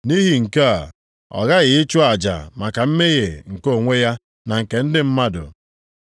Nʼihi nke a, ọ ghaghị ịchụ aja maka mmehie nke onwe ya na nke ndị mmadụ.